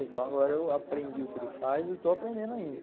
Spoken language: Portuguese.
Então agora eu aprendi o que ele faz e estou aprendendo ainda.